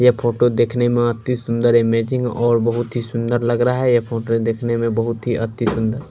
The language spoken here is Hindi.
ये फोटो देखने में अति सुंदर अमेजिंग और बहुत ही सुंदर लग रहा है ये फोटो देखने में बहुत ही अति सुंदर--